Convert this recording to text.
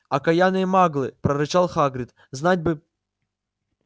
окаянные маглы прорычал хагрид знать бы